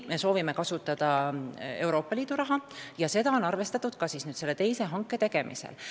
Me soovime kasutada Euroopa Liidu raha ja seda on arvestatud ka selle teise hanke tegemisel.